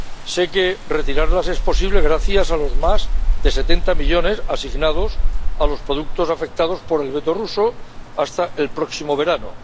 Sé que retirarlas es posible gracias a los más de 70 millones asignados a los productos afectados por el veto ruso hasta el próximo verano.